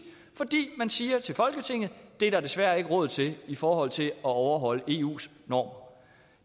fordi man siger til folketinget der desværre ikke er råd til den i forhold til at overholde eus normer